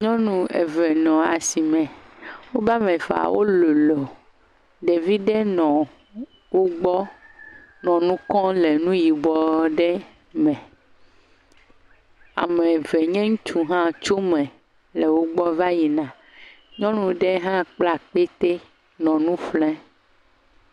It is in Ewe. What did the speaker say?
Nyɔnu eve nɔ asime. Woa me eveawo lolo. Ɖevi ɖe nɔ wogbɔ nɔ nu kɔm le nuyibɔ aɖe me. Ame eve nye ŋutsu ɖe hã tso eme va yina, nyɔnu ɖe hã kpla akpete nɔ nu ƒlem.